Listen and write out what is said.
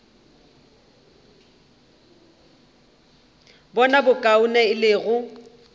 bona bokaone e le go